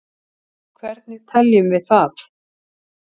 hvernig teljum við það